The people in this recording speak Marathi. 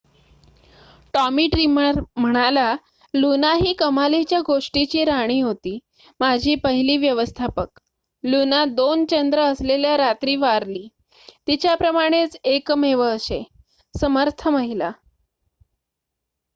"टॉमी ड्रीमर म्हणाला लुना ही कमालीच्या गोष्टीची राणी होती. माझी पहिली व्यवस्थापक. लुना 2 चंद्र असलेल्या रात्री वारली. तिच्याप्रमाणेच एकमेव अशे. समर्थ महिला"